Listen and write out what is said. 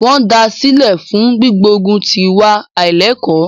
Wọ́n da sílẹ̀ fún gbígbógun ti ìwà àílẹ́ẹ̀kọ́.